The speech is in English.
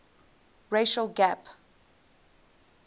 racial gap